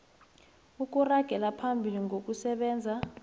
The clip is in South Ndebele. ukuragela phambili ngokusebenza